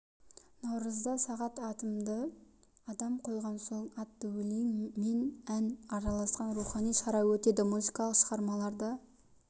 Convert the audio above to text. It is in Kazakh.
наурызда сағат атымды адам қойған соң атты өлең мен ән араласқан рухани шара өтеді музыкалық шығармаларды